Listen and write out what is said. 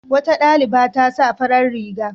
Wata ɗaliba ta sa farar riga.